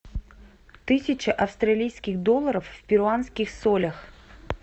тысяча австралийских долларов в перуанских солях